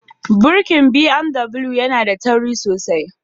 Tuƙin BMW yana da tauri sosai